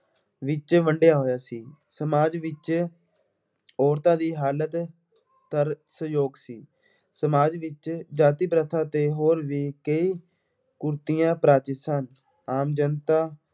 ਵਿੱਚ ਵੰਡਿਆ ਹੋਇਆ ਸੀ। ਸਮਾਜ ਵਿੱਚ ਅੋਰਤਾਂ ਦੀ ਹਾਲਤ ਤਰਸਯੋਗ ਸੀ। ਸਮਾਜ ਵਿੱਚ ਜਾਤੀ ਪ੍ਰਥਾ ਅਤੇ ਹੋਰ ਵੀ ਕਈ ਕੁਰੀਤੀਆਂ ਪਰਾਜਿਤ ਸਨ। ਆਮ ਜਨਤਾ